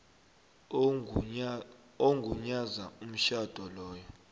ogunyaza umtjhado lowo